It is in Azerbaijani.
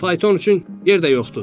Fayton üçün yer də yoxdur.